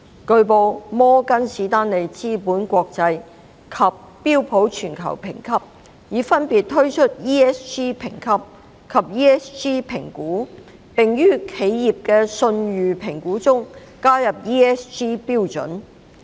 據報，摩根士丹利資本國際及標普全球評級已分別推出 ESG 評級及 ESG 評估，並於企業的信譽評估中加入 ESG 準則。